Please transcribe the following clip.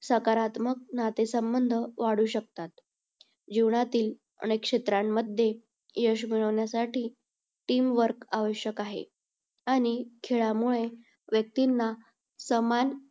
सकारात्मक नातेसंबंध वाढू शकतात. जीवनातील अनेक क्षेत्रांमध्ये यश मिळवण्यासाठी team work आवश्यक आहे. आणि खेळामुळे व्यक्तींना समान